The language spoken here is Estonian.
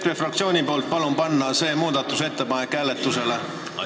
EKRE fraktsiooni nimel palun panna see muudatusettepanek hääletusele!